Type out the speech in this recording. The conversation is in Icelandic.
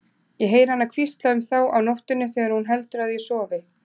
Ég heyri hana hvísla um þá á nóttunni þegar hún heldur að ég sofi.